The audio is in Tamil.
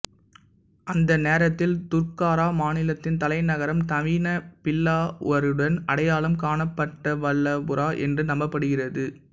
அந்த நேரத்தில் துர்காரா மாநிலத்தின் தலைநகரம் நவீன பில்லாவருடன் அடையாளம் காணப்பட்ட வல்லபுரா என்று நம்பப்படுகிறது